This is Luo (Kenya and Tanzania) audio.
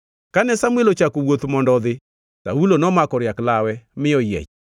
Kane Samuel ochako wuoth mondo odhi, Saulo nomako riak lawe, mi oyiech.